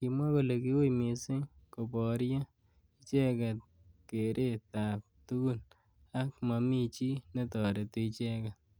Kimwa kole ki ui missing koborye icheket keret ab tukun ak mami chi netoreti icheket.